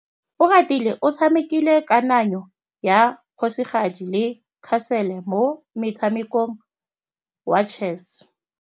Oratile o tshamekile kananyô ya kgosigadi le khasêlê mo motshamekong wa chess.